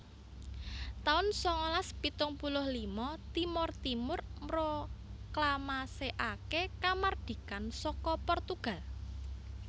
taun sangalas pitung puluh lima Timor Timur mroklamasèkaké kamardikan saka Portugal